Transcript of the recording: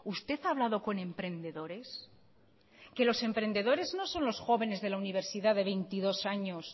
usted ha hablado con emprendedores que los emprendedores no son los jóvenes de la universidad de veintidós años